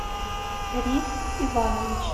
риф иванович